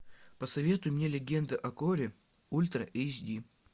посоветуй мне легенда о горе ультра эйч ди